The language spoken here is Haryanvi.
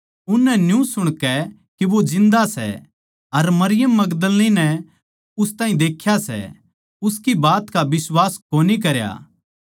उननै न्यू सुणकै के वो जिन्दा सै अर मरियम मगदलीनी नै उस ताहीं देख्या सै उसकी बात का बिश्वास कोनी करा